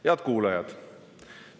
Head kuulajad!